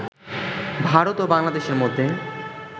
ভারত ও বাংলাদেশের মধ্যে